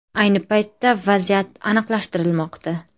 Ayni paytda vaziyat aniqlashtirilmoqda.